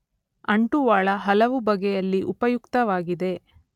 ಅಂಟುವಾಳ ಹಲವು ಬಗೆಯಲ್ಲಿ ಉಪಯುಕ್ತವಾಗಿದೆ.